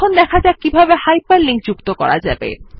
এখন শেখা যাক কিভাবে হাইপারলিংক করা যায়